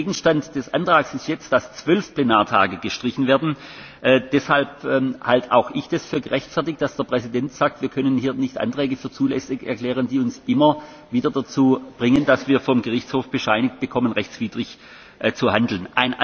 Der Gegenstand des Antrags ist jetzt, dass zwölf Plenartage gestrichen werden. Deshalb halte auch ich es für gerechtfertigt, dass der Präsident sagt, wir können hier nicht Anträge für zulässig erklären, die uns immer wieder dazu bringen, dass wir vor dem Gerichtshof bescheinigt bekommen, rechtswidrig zu handeln.